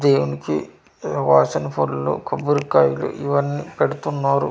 దేవునికి వాసన పూరుల్లు కొబ్బరికాయలు ఇవన్నీ పెడుతున్నారు.